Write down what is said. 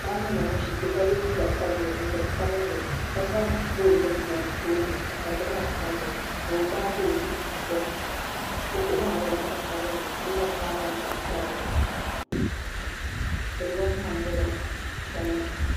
Paɣa nyɛla ŋun ʒi kpɛ ka yɛ liiga sabinli jinjɛm sabinli ka zaŋ foon bili pa o tooni ka gilaas tamya ka o gbaagi o zuɣu poni o kuɣu maa nyɛla zaɣ sabinli gilaas maa nyɛla zaɣ piɛlli tingbani maa nyɛla shainin